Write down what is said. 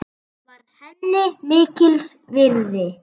Það var henni mikils virði.